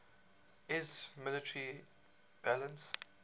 iiss military balance